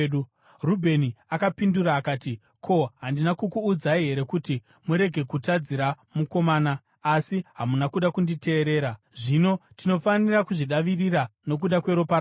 Rubheni akapindura akati, “Ko, handina kukuudzai here kuti murege kutadzira mukomana? Asi hamuna kuda kunditeerera! Zvino tinofanira kuzvidavirira nokuda kweropa rake.”